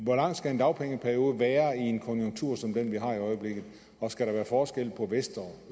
hvor lang skal en dagpengeperiode være i en konjunktur som den vi har i øjeblikket og skal der være forskel på vest og